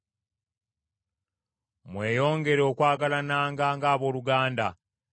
Mweyongere okwagalananga ng’abooluganda.